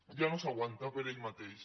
ja no s’aguanta per ell ma·teix